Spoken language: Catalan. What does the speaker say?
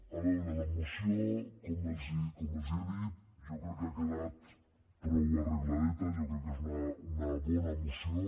a veure la moció com els he dit jo crec que ha quedat prou arregladeta jo crec que és una bona moció